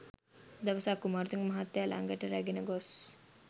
දවසක් කුමාරතුංග මහත්තයා ළඟට රැගෙන ගොස්